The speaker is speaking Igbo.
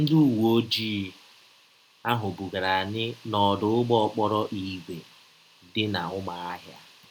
Ndị ụwe ọjii ahụ bugara anyị n’ọdụ ụgbọ ọkpọrọ ígwè dị na Ụmụahia.